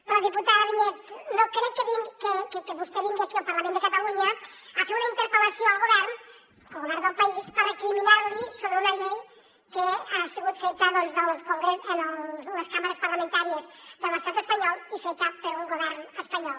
però diputada vinyets no crec que vostè vingui aquí al parlament de catalunya a fer una interpel·lació al govern al govern del país per recriminar li sobre una llei que ha sigut feta en les cambres parlamentàries de l’estat espanyol i feta per un govern espanyol